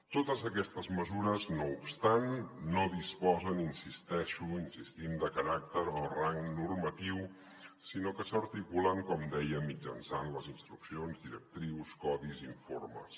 totes aquestes mesures no obstant no disposen hi insisteixo hi insistim de caràcter o rang normatiu sinó que s’articulen com deia mitjançant les instruccions directrius codis i informes